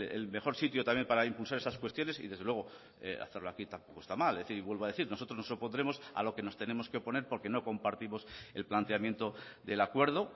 es el mejor sitio también para impulsar esas cuestiones y desde luego hacerlo aquí tampoco está mal es decir vuelvo a decir nosotros nos opondremos a lo que nos tenemos que oponer porque no compartimos el planteamiento del acuerdo